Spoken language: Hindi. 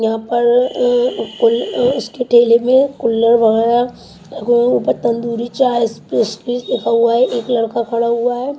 यहां पर अअ कुल उसके ठेले में कुल्लड वगैरा अअ तंदूरी चाय स्पेशलिस्ट लिखा हुआ है एक लड़का खड़ा हुआ है।